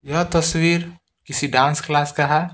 यह तस्वीर किसी डांस क्लास का है।